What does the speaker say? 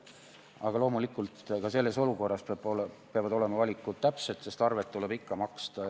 Aga loomulikult, ka selles olukorras peavad olema valikud täpsed, sest arved tuleb ikkagi maksta.